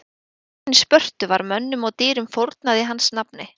í borginni spörtu var mönnum og dýrum fórnað í hans nafni